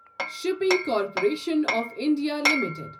shipping corporation of India limited